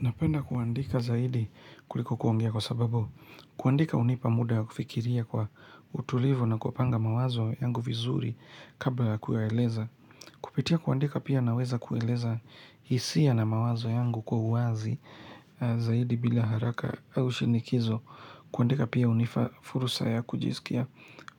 Napenda kuandika zaidi kuliko kuongea kwa sababu, kuandika hunipa muda ya kufikiria kwa utulivu na kupanga mawazo yangu vizuri kabla ya kuyaeleza. Kupitia kuandika pia naweza kueleza hisia na mawazo yangu kwa uwazi zaidi bila haraka au shinikizo. Kuandika pia hunifa fursa ya kujisikia